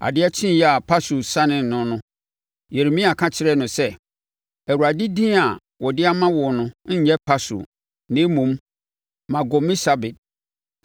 Adeɛ kyeeɛ a, Pashur sanee no no, Yeremia ka kyerɛɛ no sɛ, “ Awurade din a ɔde ama wo no nyɛ Pashur na mmom Magormisabib.